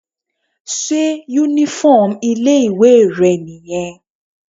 Sé uniform ilé ìwé rẹ̀ nìyẹn?